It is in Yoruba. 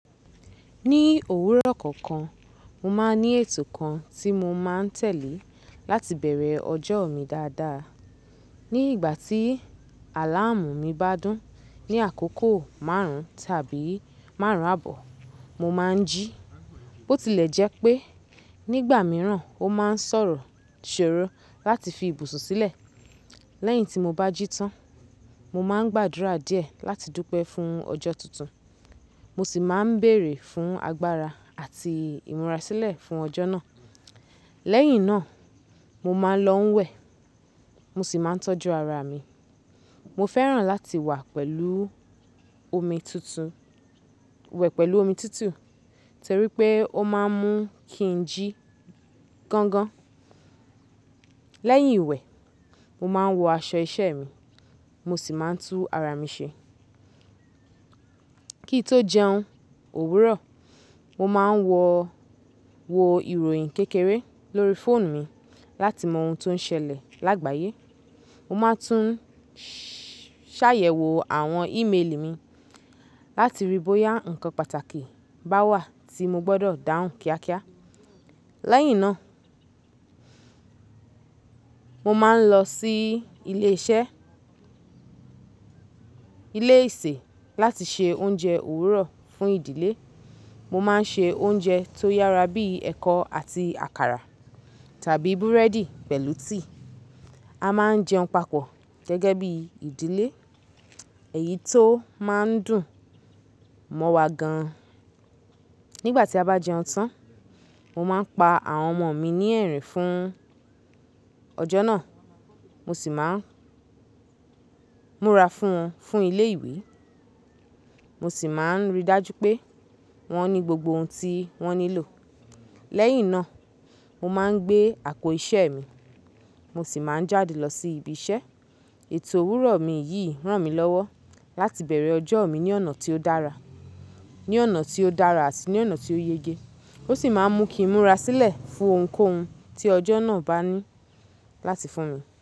Ní òwúrọ̀ kọ̀ọ̀kan, mo máa ń ní ètò kan tí mo máa ń tẹ̀lé láti bẹ̀rẹ̀ ọjọ́ mi dáadáa. Ní ìgbà tí àláàmù mi bá dún ní àkókò márùn tàbí márùn àbọ̀, mo máa ń jí. Bó tilẹ̀ jẹ́ pé nígbà mìíràn ó máa ń sọ̀rọ̀ ṣòro láti fi ibùsùn sílẹ̀. Lẹ́yìn tí mo bá jí tán, mo máa ń gbàdúrà díẹ̀ láti dúpẹ́ fún ọjọ́ tuntun, mo sì máa ń bèrè fún agbára àti ìmúra sílẹ̀ fún ọjọ́ náà. Lẹ́yìn náà, mo máa ń lọ ń wẹ̀, mo sì máa ń tọ́jú ara mi. Mo fẹ́ràn láti wẹ̀ pẹ̀lú omi titu, torí pé ó máa ń mú kí n jí gangan. Lẹ́yìn ìwẹ̀, mo máa ń wọ aṣọ iṣẹ́ mi, mo sì máa ń tú ara mi ṣe. Kí n tó jẹun òwúrọ̀, mo máa ń wo ìròyìn kékeré lórí fóònù mi láti mọ ohun tó ń ṣẹlẹ̀ lágbàyé. Mo máa tún ṣàyẹ̀wò àwọn ímeèlì mi láti rí bóyá ǹkan pàtàkì bá wà tí mo gbọdọ̀ dáhùn kíákíá. Lẹ́yìn náà, mo máa ń lọ sí ilé isẹ́ láti se oúnjẹ òwúrọ̀ fún ìdílé. Mo máa ń ṣe oúnjẹ tó yára bí ẹ̀kọ àti àkàrà tàbí búrẹ́dì pẹ̀lú tea. A máa ń jẹun papọ̀ gẹ́gẹ́ bí ìdílé, èyí tó máa ń dùn mọ́ wa gan an. Nígbà tí a bá jẹun tán, mo máa ń pa àwọn ọmọ mi ní ẹ̀rín fún ọjọ́ náà, mo sì máa ń múra fún wọn fún ilé ìwé. Mo sì máa ń ríi dájú pé wọ́n ní gbogbo ohun tí wọ́n nílò. Lẹ́yìn náà, mo máa ń gbé àpò iṣẹ́ mi, mo sì máa ń jáde lọ sí ibi iṣẹ́. Ètò òwúrọ̀ mi yìí ràn mí lọ́wọ́ láti bẹ̀rẹ̀ ọjọ́ mi ní ọ̀nà tí ó dára àti ní ọ̀nà tí ó yege. Ó ṣì máa ń mú kí ìmúra sílẹ̀ fún ohunkóhun tí ọjọ́ náà bá ní láti fún mi.